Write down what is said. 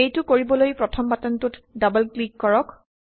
এইটো কৰিবলৈ প্ৰথম বাটনটোত ডাবল ক্লিক কৰক